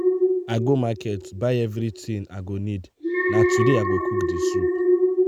i go market buy everything i go need na today i go cook the soup.